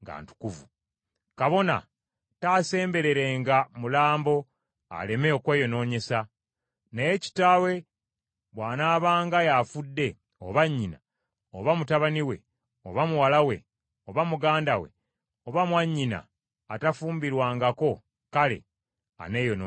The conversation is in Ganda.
“ ‘Kabona taasembererenga mulambo aleme okweyonoonyesa, naye kitaawe bw’anaabanga y’afudde, oba nnyina, oba mutabani we oba muwala we, oba muganda we, oba mwannyina atafumbirwangako, kale aneeyonoonesanga.